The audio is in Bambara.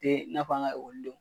tɛ n'a fɔ an ka ekɔli don.